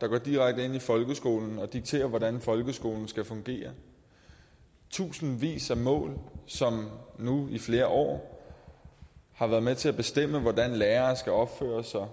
der går direkte ind i folkeskolen og dikterer hvordan folkeskolen skal fungere tusindvis af mål som nu i flere år har været med til at bestemme hvordan lærere skal opføre sig